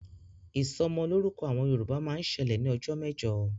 Ìsọmọlọ́rúkọ àwọn Yorùbá máa ń ṣẹlẹ̀ ní ọjọ́ mẹ́jọ